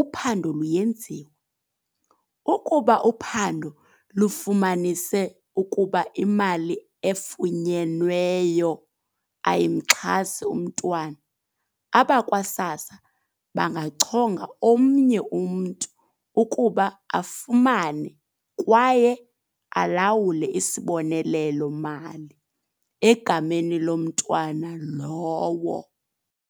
uphando luyenziwa. Ukuba uphando lufumanise ukuba imali efunyenweyo ayimxhasi umntwana, abakwa-SASSA bangachonga omnye umntu ukuba afumane kwaye alawule isibonelelo-mali egameni lomntwana lowo."